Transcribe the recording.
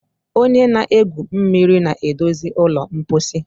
onye na-egwu mmiri na-edozi ụlọ mposi